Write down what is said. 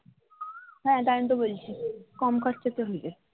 হ্যা তাই জন্য তো বলছি কম খরচা তে হয়ে যাবে